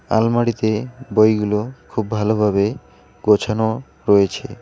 আলমারিতে বইগুলো খুব ভালোভাবে গোছানো রয়েছে।